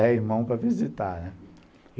É a irmão para visitar, né.